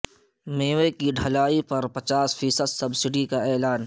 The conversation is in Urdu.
میوے کی ڈھلائی پرپچاس فی صد سبسڈی کا اعلان